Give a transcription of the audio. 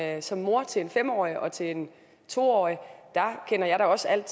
at som mor til en fem årig og til en to årig kender jeg da også alt